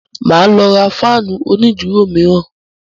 Màá lọ ra fáànù onídùúró mìíràn.